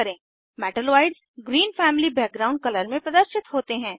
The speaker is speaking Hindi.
metalloids green family background colour में प्रदर्शित होते हैं